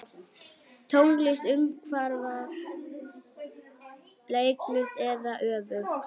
Tónlist umfram leiklist eða öfugt?